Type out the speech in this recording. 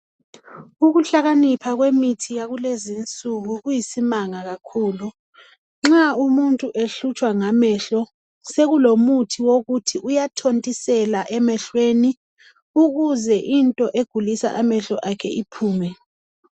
Ukuhlakanipha kwemithi yakulezi insuku kuyisimanga kakhulu .Nxa umutnu ehlutshwa ngamehlo sekulomuthi wokuthi uyathontisela emehlweni ukuze into egulisa amehlo akhe iphume.